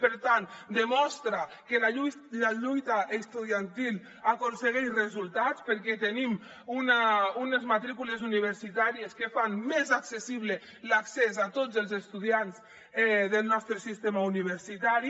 per tant demostra que la lluita estudiantil aconsegueix resultats perquè tenim unes matrícules universitàries que fan més accessible l’accés a tots els estudiants del nostre sistema universitari